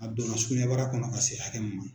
A donna sukunɛbara kɔnɔ ka se hakɛ min ma.